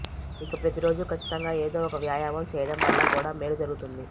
ఇక ప్రతిరోజూ ఖచ్చితంగా ఏదో ఒక వ్యాయామం చేయడం వల్ల కూడామేలు జరుగుతుంది